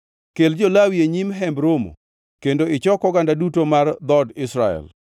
Kel jo-Lawi e nyim Hemb Romo kendo ichok oganda duto mar dhood Israel.